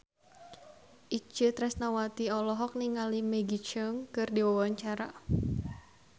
Itje Tresnawati olohok ningali Maggie Cheung keur diwawancara